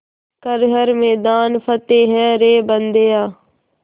कर हर मैदान फ़तेह रे बंदेया